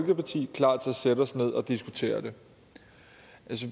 sætte os ned og diskutere det